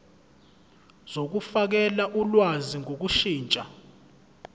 zokufakela ulwazi ngokushintsha